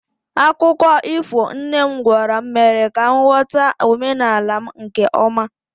akụkọ ifo nne m gwara m mere ka m ghọta omenala m nke ọma